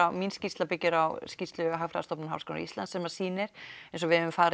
mín skýrsla byggir á skýrslu Hagfræðistofnunar Háskóla Íslands sem sýnir eins og við höfum farið